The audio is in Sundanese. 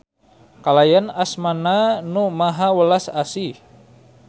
Kalayan asma-Na Nu Maha Welas Asih.